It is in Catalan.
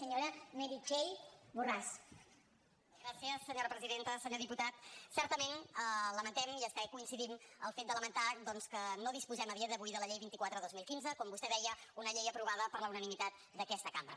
senyor diputat certament lamentem i fins coincidim en el fet de lamentar doncs que no disposem a dia d’avui de la llei vint quatre dos mil quinze com vostè deia una llei aprovada per la unanimitat d’aquesta cambra